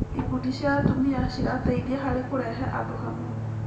Ikundi cia atumia cirateithia harĩ kũrehe andũ hamwe.